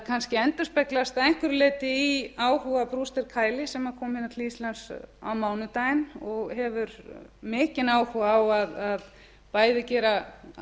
kannski endurspeglast að einhverju leyti í áhuga sem kom til íslands á mánudaginn og hefur mikinn áhuga á bæði að